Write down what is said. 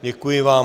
Děkuji vám.